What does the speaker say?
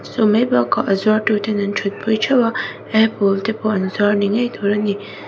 chu mai bakah a zuartu ten an thut pui theuh a apple te pawh an zuar ni ngei tur ani.